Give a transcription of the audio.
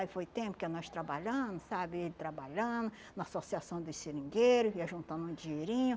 Aí foi tempo que nós trabalhando, sabe, ele trabalhando, na associação dos seringueiro, vinha juntando um dinheirinho.